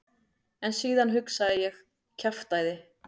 En síðan hugsaði ég: kjaftæði.